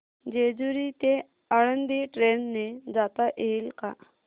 जेजूरी ते आळंदी ट्रेन ने जाता येईल का